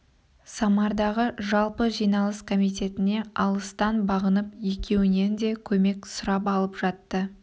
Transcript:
самардағы жалпы жиналыс комитетіне алыстан бағынып екеуінен де көмек сұрап алып жатты